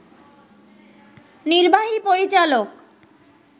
নির্বাহী পরিচালক